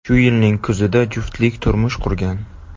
Shu yilning kuzida juftlik turmush qurgan.